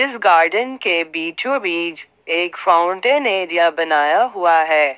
इस गार्डन के बीचो बीच एक फाउंटेन एरिया बनाया हुआ है।